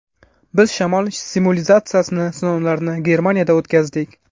Biz shamol simulyatsiyasini sinovlarini Germaniyada o‘tkazdik.